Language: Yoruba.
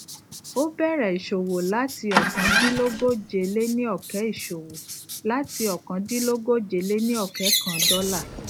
o bẹrẹ isowo lati ọkandilogojeleniọkẹ isowo lati ọkandilogojeleniọkẹ kan dọla